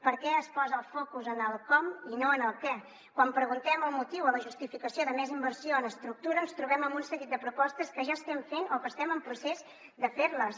per què es posa el focus en el com i no en el què quan preguntem el motiu o la justificació de més inversió en estructura ens trobem amb un seguit de propostes que ja estem fent o que estem en procés de ferles